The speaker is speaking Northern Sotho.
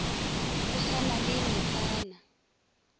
go sa na le metsana